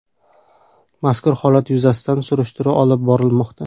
Mazkur holat yuzasidan surishtiruv olib borilmoqda.